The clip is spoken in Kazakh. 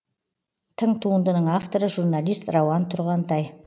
тың туындының авторы журналист рауан тұрғантай